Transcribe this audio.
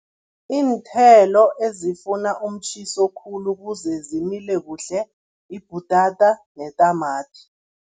Iinthelo ezifuna umtjhiso khulu ukuze zimile kuhle yibhutata netamati.